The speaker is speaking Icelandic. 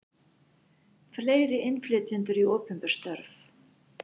Fleiri innflytjendur í opinber störf